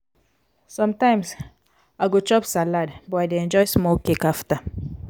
sometimes i go chop salad but i dey enjoy small cake after.